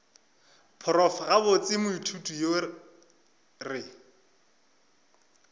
prof gabotse moithuti yo re